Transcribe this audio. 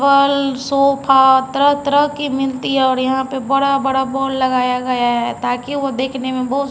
फलर्सोफ़ा तरह तरह की मिलती है और यहाँ पर बड़े बड़े बोर्ड लगाया गया है ताकि वो दिखने में बहुत--